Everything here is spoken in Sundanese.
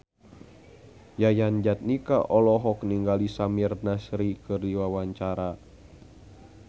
Yayan Jatnika olohok ningali Samir Nasri keur diwawancara